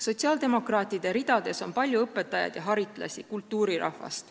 Sotsiaaldemokraatide ridades on palju õpetajaid ja haritlasi, kultuurirahvast.